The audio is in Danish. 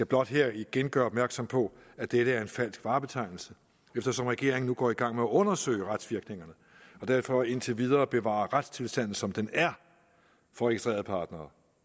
blot her igen gøre opmærksom på at dette er en falsk varebetegnelse eftersom regeringen nu går i gang med at undersøge retsvirkningerne og derfor indtil videre bevarer retstilstanden som den er for registrerede partnere